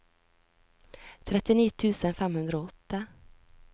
trettini tusen fem hundre og åtte